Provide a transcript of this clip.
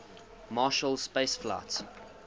marshall space flight